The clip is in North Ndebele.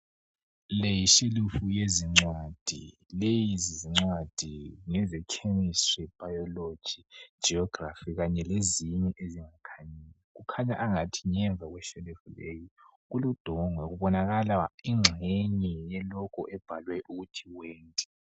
Le yishelufu yezingcwadi lezincwadi ngeze Chemistry, Biology, Geography kanye lezinye ezingakhanyiyo, kukhanya angathi ngemva kweshelufu leyi kule logo ebhalwe ukuthi 'went'